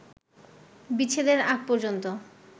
বিচ্ছেদের আগ পর্যন্ত